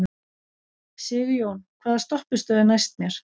Sigjón, hvaða stoppistöð er næst mér?